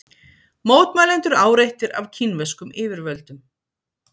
Mótmælendur áreittir af kínverskum yfirvöldum